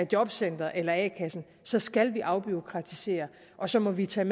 jobcenteret eller a kassen så skal vi afbureaukratisere og så må vi tage